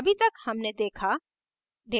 अभी तक हमने देखा